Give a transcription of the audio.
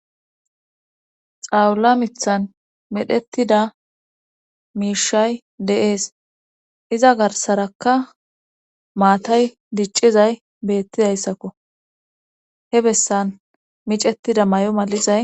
xawula mithan medhettida miishay de'ees iza garsarakka maatay diccizay beettidayssakko he bessan micettida mayo malizay